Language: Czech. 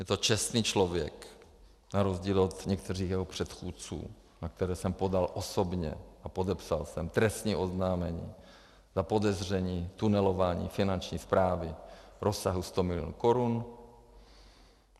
Je to čestný člověk, na rozdíl od některých jeho předchůdců, na které jsem podal osobně a podepsal jsem trestní oznámení na podezření tunelování Finanční správy v rozsahu 100 milionů korun.